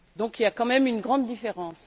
Il y a quand même une grande différence!